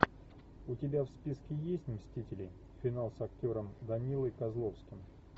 у тебя в списке есть мстители финал с актером данилой козловским